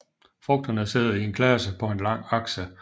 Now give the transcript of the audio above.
Frugterne sidder i en klase på en lang akse